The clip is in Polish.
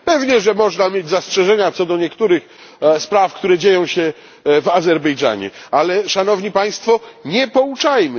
Pewnie, że można mieć zastrzeżenia co do niektórych spraw które dzieją się w Azerbejdżanie, ale, Szanowni Państwo, nie pouczajmy!